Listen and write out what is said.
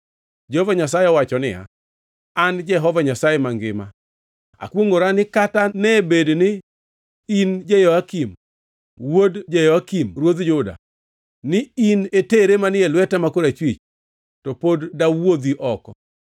Jehova Nyasaye owacho niya, “An Jehova Nyasaye mangima akwongʼora ni kata ne bed ni in Jehoyakin wuod Jehoyakim ruodh Juda, ni in e tere manie lweta ma korachwich, to pod dawuodhi oko.